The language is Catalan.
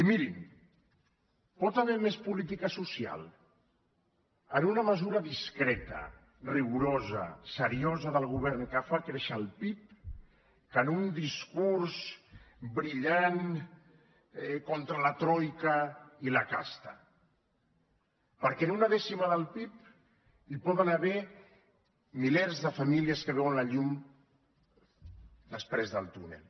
i mirin pot haver hi més política social en una mesura discreta rigorosa seriosa del govern que fa créixer el pib que en un discurs brillant contra la troica i la casta perquè en una dècima del pib hi poden haver milers de famílies que veuen la llum després del túnel